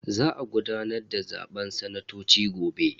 Za a gudanar da zaben sanatoci gobe.